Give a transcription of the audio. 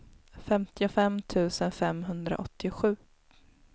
femtiofem tusen femhundraåttiosju